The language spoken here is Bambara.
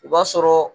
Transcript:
O b'a sɔrɔ